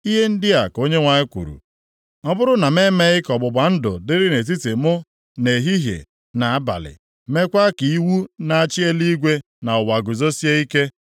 Ihe ndị a ka Onyenwe anyị kwuru, ‘Ọ bụrụ na m emeghị ka ọgbụgba ndụ dịrị nʼetiti mụ na ehihie na abalị, meekwa ka iwu na-achị eluigwe na ụwa guzosie ike,